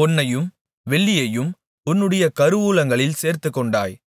பொன்னையும் வெள்ளியையும் உன்னுடைய கருவூலங்களில் சேர்த்துக்கொண்டாய்